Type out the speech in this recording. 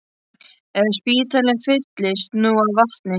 Ef spítalinn fylltist nú af vatni!